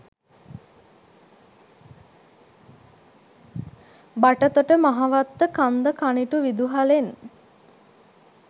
බටතොට මහවත්ත කන්ද කනිටු විදුහලෙන්